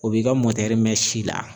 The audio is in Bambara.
O b'i ka mɛn si la